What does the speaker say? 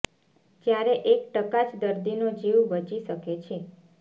જ્યારે એક ટકા જ દર્દીનો જીવ બચી શકે છે